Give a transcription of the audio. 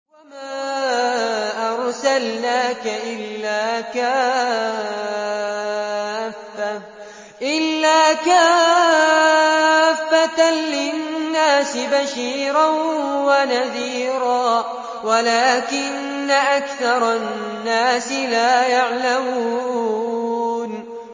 وَمَا أَرْسَلْنَاكَ إِلَّا كَافَّةً لِّلنَّاسِ بَشِيرًا وَنَذِيرًا وَلَٰكِنَّ أَكْثَرَ النَّاسِ لَا يَعْلَمُونَ